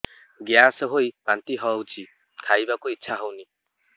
gas ହୋଇ ବାନ୍ତି ହଉଛି ଖାଇବାକୁ ଇଚ୍ଛା ହଉନି